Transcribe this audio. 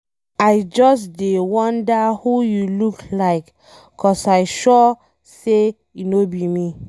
I just dey wonder who you look like cause I sure say e no be me.